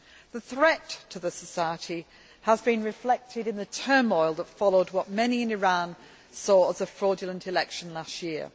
The threat to the society has been reflected in the turmoil that followed what many in Iran saw as a fraudulent election last year.